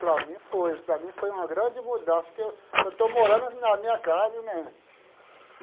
Para mim foi, para mim foi uma grande mudança, porque eu estou morando na minha casa, né?